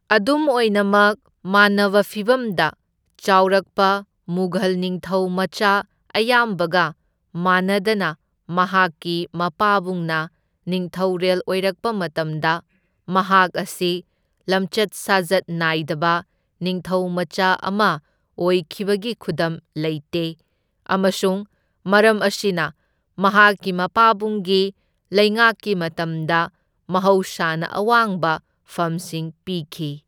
ꯑꯗꯨꯝ ꯑꯣꯏꯅꯃꯛ, ꯃꯥꯟꯅꯕ ꯐꯤꯚꯝꯗ ꯆꯥꯎꯔꯛꯄ ꯃꯨꯘꯜ ꯅꯤꯡꯊꯧ ꯃꯆꯥ ꯑꯌꯥꯝꯕꯒ ꯃꯥꯟꯅꯗꯅ ꯃꯍꯥꯛꯀꯤ ꯃꯄꯥꯕꯨꯡꯅ ꯅꯤꯡꯊꯧꯔꯦꯜ ꯑꯣꯏꯔꯛꯄ ꯃꯇꯝꯗ ꯃꯍꯥꯛ ꯑꯁꯤ ꯂꯝꯆꯠ ꯁꯥꯖꯠ ꯅꯥꯏꯗꯕ ꯅꯤꯡꯊꯧ ꯃꯆꯥ ꯑꯃ ꯑꯣꯏꯈꯤꯕꯒꯤ ꯈꯨꯗꯝ ꯂꯩꯇꯦ, ꯑꯃꯁꯨꯡ ꯃꯔꯝ ꯑꯁꯤꯅ ꯃꯍꯥꯛꯀꯤ ꯃꯄꯥꯕꯨꯡꯒꯤ ꯂꯩꯉꯥꯛꯀꯤ ꯃꯇꯝꯗ ꯃꯍꯧꯁꯥꯅ ꯑꯋꯥꯡꯕ ꯐꯝꯁꯤꯡ ꯄꯤꯈꯤ꯫